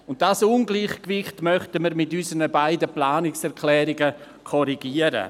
Dieses Ungleichgewicht möchten wir mit unseren beiden Planungserklärungen korrigieren.